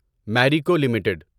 Marico limited